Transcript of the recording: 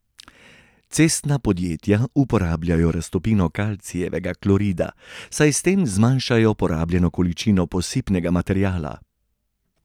Cestna podjetja uporabljajo raztopino kalcijevega klorida, saj s tem zmanjšajo porabljeno količino posipnega materiala.